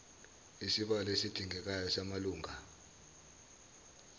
isibalo esidingekayo samalunga